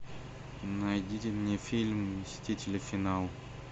найди мне фильм мстители финал